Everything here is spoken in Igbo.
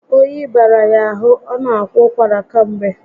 Oyi bara ya ahụ, ọ na akwa ụkwara kamgbe